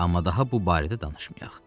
Amma daha bu barədə danışmayaq.